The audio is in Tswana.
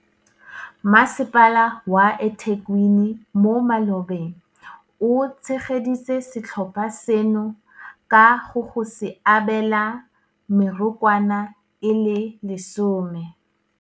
Masepala wa eThekwini mo malobeng o tshegeditse setlhopha seno ka go go se abela mekorwana e le 10.